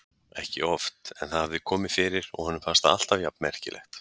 Ekki oft en það hafði komið fyrir og honum fannst það alltaf jafn merkilegt.